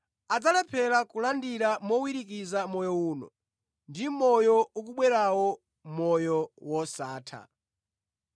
adzalephera kulandira mowirikiza mʼmoyo uno, ndi mʼmoyo ukubwerawo, moyo wosatha.”